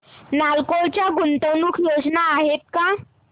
नालको च्या गुंतवणूक योजना आहेत का